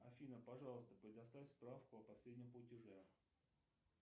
афина пожалуйста предоставь справку о последнем платеже